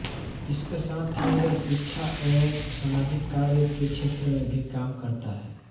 इसके साथ ही यह शिक्षा एवं सामाजिक कार्य के क्षेत्र में भी काम करता है